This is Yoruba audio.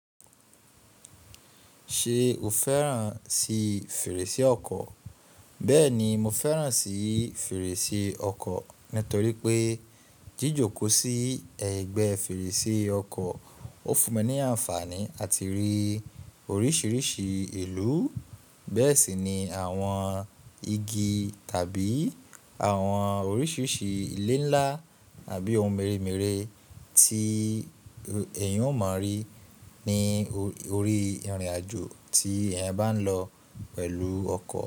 Ṣé o fẹ́ràn sí fèrèsé ọkọ̀? Bẹ́ẹ̀ni, mo fẹ́ràn sí fèrèsé ọkọ̀ nítorí pé jíjòkò sí ẹ̀gbẹ́ fèrèsé ọkọ̀ ó fún mi ní àǹfààní àti rí oríṣiríṣi ìlú, bẹ́ẹ̀ sì ni àwọn igi tàbí àwọn oríṣiríṣi ilé ńlá àbí ohun mèremère tí èèyàn ó máa rí ní orí ìrìnàjò tí ẹ̀yin bá ń lọ pẹ̀lú ọkọ̀